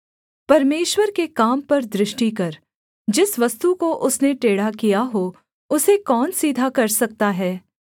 परमेश्वर के काम पर दृष्टि कर जिस वस्तु को उसने टेढ़ा किया हो उसे कौन सीधा कर सकता है